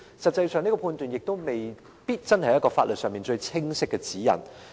但是，這個判斷亦未必是一個法律上最清晰的指引。